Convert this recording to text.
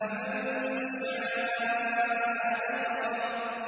فَمَن شَاءَ ذَكَرَهُ